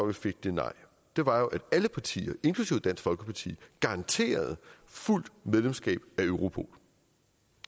vi fik det nej jo var at alle partier inklusive dansk folkeparti garanterede fuldt medlemskab af europol